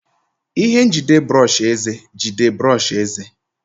Ihe njide brọsh eze jide brọsh eze.